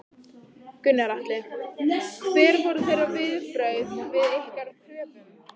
Gunnar Atli: Hver voru þeirra viðbrögð við ykkar kröfum?